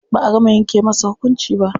Ba'a gama yanke masa hukunci ba.